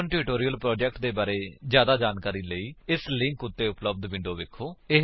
spoken tutorial project ਦੇ ਬਾਰੇ ਜਿਆਦਾ ਜਾਣਕਾਰੀ ਲਈ ਇਸ ਲਿੰਕ ਉੱਤੇ ਉਪਲੱਬਧ ਵਿਡਯੋ ਵੇਖੋ